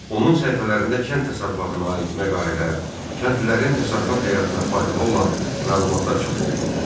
Onun səhifələrində kənd təsərrüfatına aid məqalələr, kəndlilərin təsərrüfat həyatına faydalı olan məlumatlar çap olunurdu.